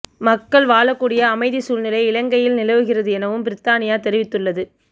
மக்கள் வாழக்கூடிய அமைதி சூழ்நிலை இலங்கையில் நிலவுகிறது எனவும் பிரித்தானியா தெரிவித்துள்ளது